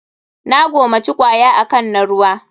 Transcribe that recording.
Na gomaci kwaya akan na ruwa.